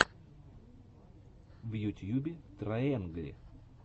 в ютьюбе трайэнгли